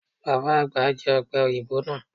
Baba agba jẹ ope oyinbo naa